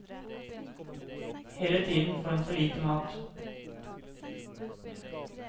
Hele tiden får han for lite mat.